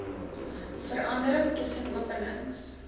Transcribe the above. verandering tussen openings